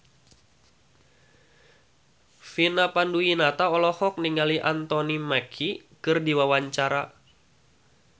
Vina Panduwinata olohok ningali Anthony Mackie keur diwawancara